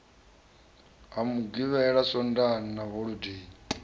ha mugivhela swondaha na holodei